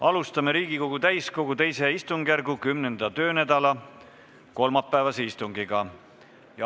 Alustame Riigikogu täiskogu II istungjärgu 10. töönädala kolmapäevast istungit.